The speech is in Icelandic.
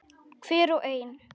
Hver og ein.